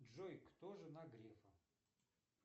джой кто жена грефа